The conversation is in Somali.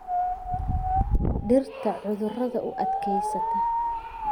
Dhirta cudurada u adkaysta.